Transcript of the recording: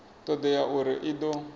todea na uri i do